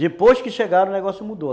Depois que chegaram, o negócio mudou.